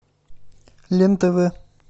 лен тв